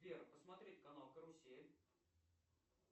сбер посмотреть канал карусель